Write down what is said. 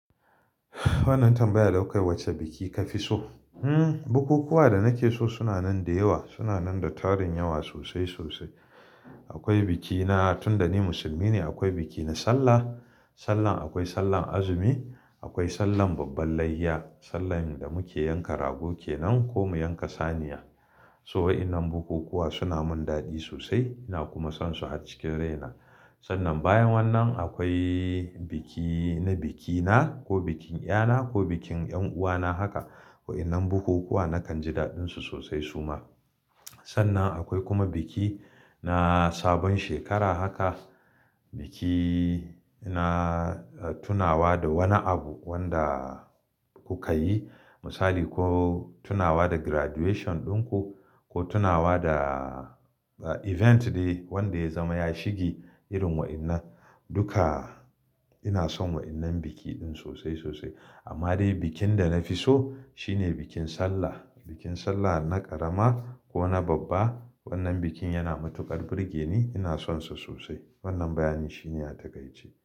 Wannan tambayar da kawai wacce biki ka fi so? Hmm bukukuwa da nake so suna nan da yawa, suna nan da tarin yawa sosai sosai. Akwai bikina tun da ni musulmi ne, akwai biki na sallah. Sallah akwai sallar azumi, akwai sallan babban layya, sallan da muke yanka rago kenan ko mu yanka saniya. So wa'inan bukukuwa suna mun daɗi sosai ina kuma son su a cikin raina. Sannan bayan wannan akwai biki na bikina ko bikin iyana ko bikin 'yan uwana haka. Wa'innan bukukuwa nakan ji daɗinsu sosai suma. Sannan akwai kuma biki na sabon shekara haka. Biki na tunawa da wani abu wanda kuka yi. Misali ko tunawa da graduation ɗinku ko tunawa da event dai wanda ya zama ya shige irin wa'innan. Duka ina son wa'innan biki din sosai sosai. Amma dai bikin da na fi so shine bikin sallah. Bikin sallah na ƙarama ko na babba wannan bikin yana matuƙar burge ni, ina son sa sosai. Wannan bayani shine ya takaitce.